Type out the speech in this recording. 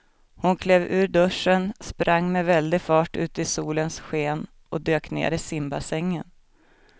Hon klev ur duschen, sprang med väldig fart ut i solens sken och dök ner i simbassängen.